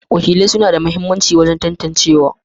Wakilai suna da mahimmanci wajen tantancewa.